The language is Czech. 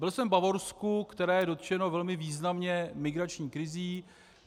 Byl jsem v Bavorsku, které je dotčeno velmi významně migrační krizí.